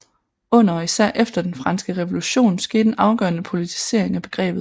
Under og især efter den franske revolution skete en afgørende politisering af begrebet